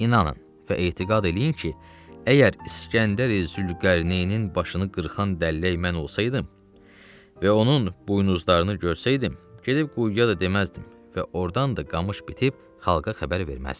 İnanın və etiqad eləyin ki, əgər İsgəndəri Zülqərneynin başını qırxan dəllək mən olsaydım və onun buynuzlarını görsəydim, gedib quyuya da deməzdim və ordan da qamış bitib xalqa xəbər verməzdi.